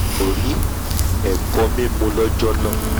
n kò rí ẹ̀kọ-mímu lọ́jọ́ náà